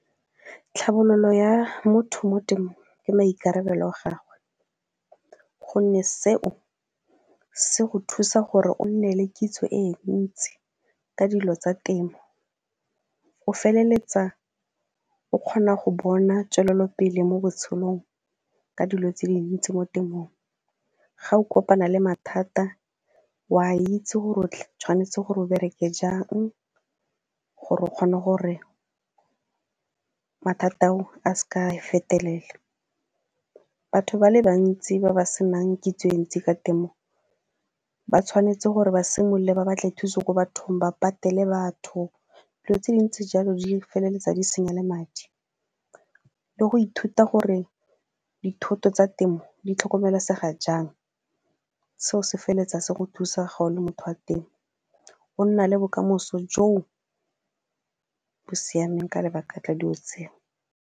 Tlhabololo ya motho mo temo ke maikarabelo a gagwe gonne seo se go thusa gore o nne le kitso e ntsi ka dilo tsa temo, o feleletsa o kgona go bona tswelelopele mo botshelong ka dilo tse dintsi mo temong, ga o kopana le mathata o a itse gore o tshwanetse gore o bereke jang gore o kgone gore mathata ao a seke a fetelela. Batho ba le bantsi ba ba senang kitso e ntsi ka temo ba tshwanetse gore ba simolola ba batle thuse ko bathong, ba patele batho dilo tse dintsi jalo di feleletsa di senya le madi le go ithuta gore dithoto tsa temo di tlhokomelesega jang. Seo se feleletsa se go thusa ga o le motho wa temo go nna le bokamoso jo bo siameng ka lebaka la dilo tseo.